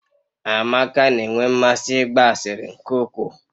Amaka na-enwe mmasị ịgba asịrị nke ukwuu